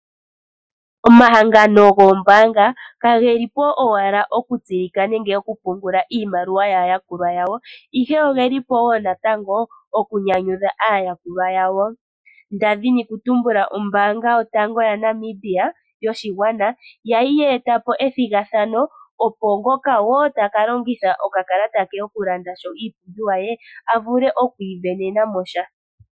Omahangano goombaanga ka geli po owala oku tseyika nenge oku pungula iimaliwa yaa yakulwa yawo, ihe ogeli po wo natango oku nyanyudha aayakulwa yawo. Nda dhini oku tumbula ombaanga yotango yaNamibia yoshigwana oya li ye eta po ethigathano opo ngoka wo taka longitha okakalata ke oku landa iipumbiwa ye, a vule oku isindanena mo sha.